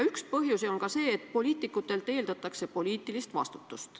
Üks põhjusi on ka see, et poliitikutelt eeldatakse poliitilist vastutust.